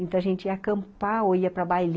Então, a gente ia acampar, ou ia para bai